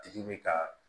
Tigi bɛ ka